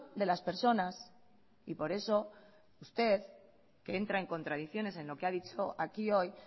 de las personas y por eso usted que entra en contradicciones en lo que ha dicho aquí hoy